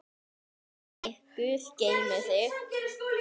Elsku Dagný, Guð geymi þig.